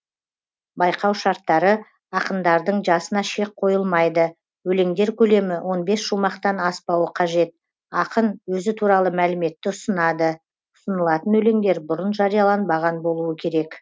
байқау шарттары ақындардың жасына шек қойылмайды өлеңдер көлемі он бес шумақтан аспауы қажет ақын өзі туралы мәліметті ұсынады ұсынылатын өлеңдер бұрын жарияланбаған болуы керек